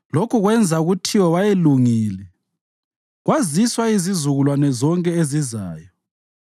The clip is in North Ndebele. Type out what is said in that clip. Lokhu kwenza kuthiwe wayelungile kwaziswa izizukulwane zonke ezizayo.